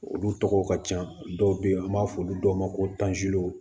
Olu tɔgɔ ka can dɔw be yen an b'a fɔ olu dɔw ma ko